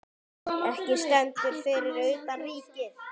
Eiki stendur fyrir utan Ríkið.